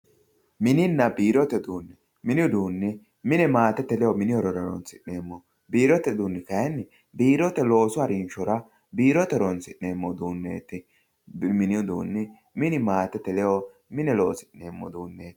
Mininna biirote uduunni mine maatete ledo horonsi'neemmoho. Biirote uduunni kaayiinni biirote loosu harinshora biirote horonsi'neemmo uduunneeti. Mini uduunni mine maatete ledo mine loosi'neemo uduunneeti.